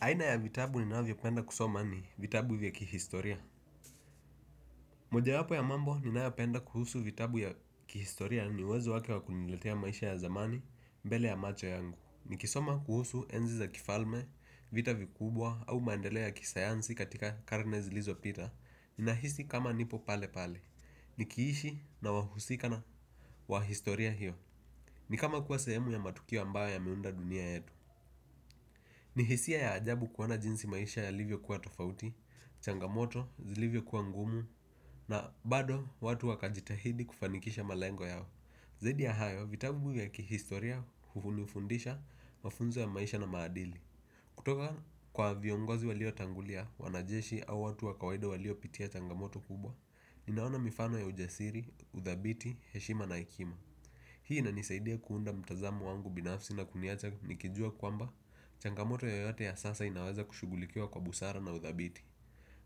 Aina ya vitabu ninavyopenda kusoma ni vitabu vya kihistoria. Moja wapo ya mambo ninayopenda kuhusu vitabu ya kihistoria ni uwezo wake wakuniletea maisha ya dhamani mbele ya macho yangu. Nikisoma kuhusu enzi za kifalme vita vikubwa au maendeleo ya kisayansi katika karne zilizopita. Ninahisi kama nipo pale pale. Nikiishi na wahusikana wa historia hiyo. Ni kama kuwa sehemu ya matukio ambayo ya meunda dunia yetu. Ni hisia ya ajabu kuona jinsi maisha ya livyo kuwa tofauti. Changamoto zilivyo kuwa ngumu. Na bado watu wakajitahidi kufanikisha malengo yao zaidi ya hayo vitabu vya kihistoria hunifundisha mafunzo ya maisha na maadili. Kutoka kwa viongozi walio tangulia wanajeshi au watu wakawaida walio pitia changamoto kubwa. Ninaona mifano ya ujasiri, udhabiti, heshima na hekima hii inanisaidia kuunda mtazamo wangu binafsi na kuniacha nikijua kwamba changamoto yoyote ya sasa inaweza kushughulikia kwa busara na udhabiti.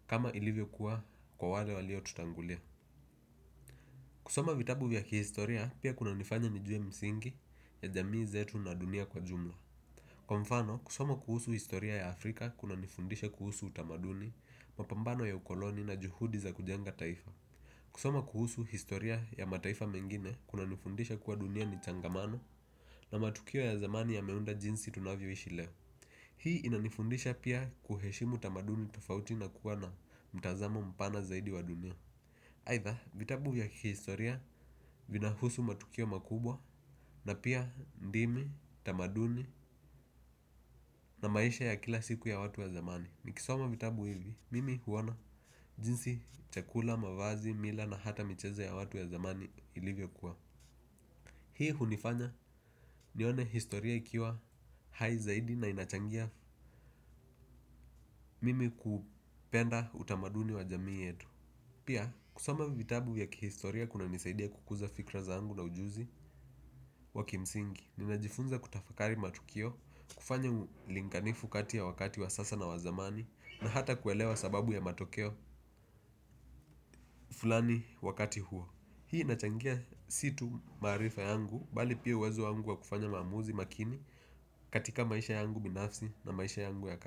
Kama ilivyo kuwa kwa wale walio tutangulia. Kusoma vitabu vya kihistoria pia kuna nifanya nijue misingi ya jamii zetu na dunia kwa jumla. Kwa mfano kusoma kuhusu historia ya Afrika kuna nifundisha kuhusu utamaduni mapambano ya ukoloni na juhudi za kujenga taifa. Kusoma kuhusu historia ya mataifa mengine kuna nifundisha kuwa dunia ni changamano na matukio ya dhamani yameunda jinsi tunavyo ishi leo. Hii inanifundisha pia kuheshimu tamaduni tofauti na kukuwa na mtazamo mpana zaidi wa dunia. Haitha vitabu ya kihistoria vinahusu matukio makubwa na pia din i tamaduni na maisha ya kila siku ya watu ya zamani. Nikisoma vitabu hivi, mimi huona jinsi chakula, mavazi, mila na hata michezo ya watu ya dhamani ilivyo kuwa hii hunifanya nione historia ikiwa hai zaidi na inachangia mimi kupenda utamaduni wa jamii yetu. Pia kusoma vitabu ya kihistoria kuna nisaidia kukuza fikra zangu na ujuzi wa kimsingi. Ninajifunza kutafakari matukio kufanya ulinganifu kati ya wakati wa sasa na wazamani. Na hata kuelewa sababu ya matokeo fulani wakati huo. Hii inachangia situ maarifa yangu bali pia uwezo yangu wa kufanya maamuzi makini. Katika maisha yangu binafsi na maisha yangu ya ka.